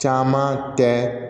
Caman tɛ